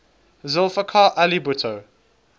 zulfikar ali bhutto